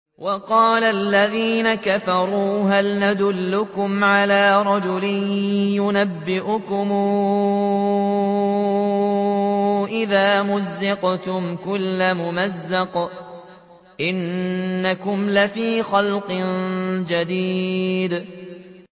وَقَالَ الَّذِينَ كَفَرُوا هَلْ نَدُلُّكُمْ عَلَىٰ رَجُلٍ يُنَبِّئُكُمْ إِذَا مُزِّقْتُمْ كُلَّ مُمَزَّقٍ إِنَّكُمْ لَفِي خَلْقٍ جَدِيدٍ